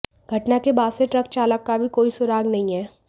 घटना के बाद से ट्रक चालक का भी कोई सुराग नहीं है